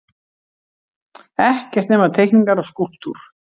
Ekkert nema teikningar og skúlptúr.